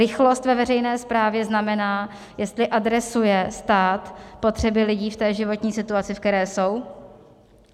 Rychlost ve veřejné správě znamená, jestli adresuje stát potřeby lidí v té životní situaci, ve které jsou.